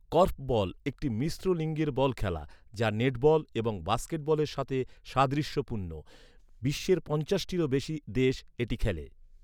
Korfball, একটি মিশ্র লিঙ্গের বল খেলা, যা নেটবল এবং বাস্কেটবলের সাথে সাদৃশ্যপূর্ণ। বিশ্বের পঞ্চাশটিরও বেশি দেশ এটি খেলে।